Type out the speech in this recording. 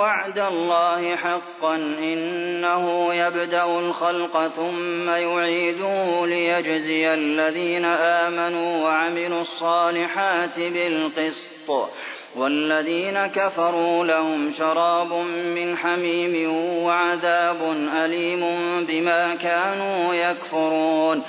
وَعْدَ اللَّهِ حَقًّا ۚ إِنَّهُ يَبْدَأُ الْخَلْقَ ثُمَّ يُعِيدُهُ لِيَجْزِيَ الَّذِينَ آمَنُوا وَعَمِلُوا الصَّالِحَاتِ بِالْقِسْطِ ۚ وَالَّذِينَ كَفَرُوا لَهُمْ شَرَابٌ مِّنْ حَمِيمٍ وَعَذَابٌ أَلِيمٌ بِمَا كَانُوا يَكْفُرُونَ